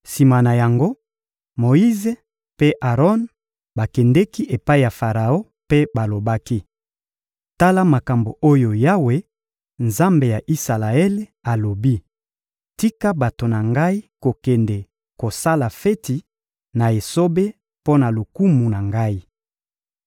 Sima na yango, Moyize mpe Aron bakendeki epai ya Faraon mpe balobaki: — Tala makambo oyo Yawe, Nzambe ya Isalaele, alobi: «Tika bato na Ngai kokende kosala feti na esobe mpo na lokumu na Ngai.»